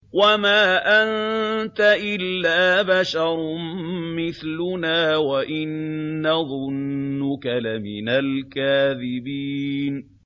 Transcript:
وَمَا أَنتَ إِلَّا بَشَرٌ مِّثْلُنَا وَإِن نَّظُنُّكَ لَمِنَ الْكَاذِبِينَ